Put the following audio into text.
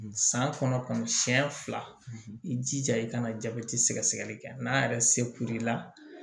San kɔnɔ siɲɛ fila i jija i kana jabɛti sɛgɛsɛgɛli kɛ n'a yɛrɛ se kulila